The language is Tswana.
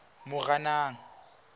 moranang